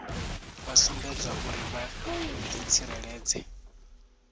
vha sumbedzwa uri vha ḓitsireledza